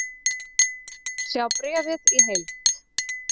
Sjá bréfið í heild